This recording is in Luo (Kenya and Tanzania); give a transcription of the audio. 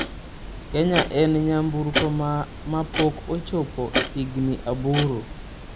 Kenya en Nyamburko ma pok ochopo higni aboro.